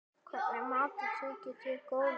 Hvernig matur þykir þér góður?